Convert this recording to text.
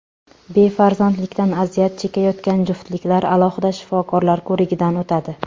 Befarzandlikdan aziyat chekayotgan juftliklar alohida shifokorlar ko‘rigidan o‘tadi.